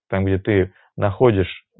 там где ты находишь